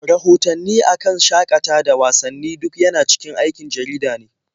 Rahotanni a kan shaƙata da wasanni duk yana cikin aikin jaridanci ne.